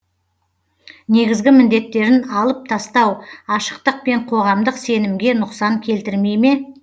негізгі міндеттерін алып тастау ашықтық пен қоғамдық сенімге нұқсан келтірмей ме